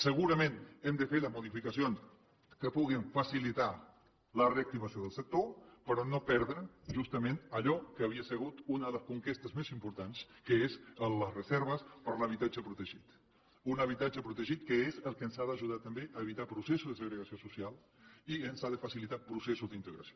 segurament hem de fer les modificacions que puguin facilitar la reactivació del sector però no perdre justament allò que havia sigut una de les conquestes més importants que és les reserves per a l’habitatge protegit un habitatge protegit que és el que ens ha d’ajudar també a evitar processos de segregació social i ens ha de facilitar processos d’integració